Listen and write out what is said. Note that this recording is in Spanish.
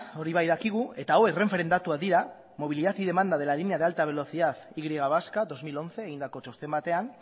hori bai dakigu eta hau renferen datuak dira movilidad y demanda de la línea de alta velocidad y vasca bi mila hamaika egindako txosten batean